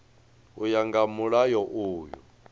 u ya nga mulayo uyu